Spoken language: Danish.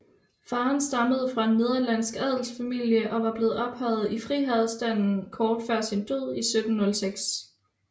Faderen stammede fra en nederlandsk adelsfamilie og var blevet ophøjet i friherrestanden kort før sin død i 1706